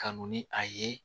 Ka n'u ni a ye